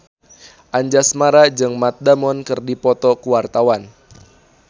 Anjasmara jeung Matt Damon keur dipoto ku wartawan